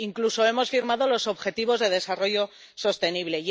incluso hemos firmado los Objetivos de Desarrollo Sostenible.